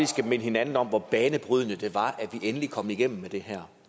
skal minde hinanden om hvor banebrydende det var at vi endelig kom igennem med det her